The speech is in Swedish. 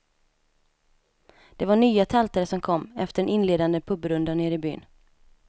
Det var nya tältare som kom, efter en inledande pubrunda nere i byn.